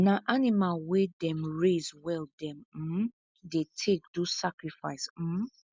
na animal wey them raise well them um dey take do sacrifice um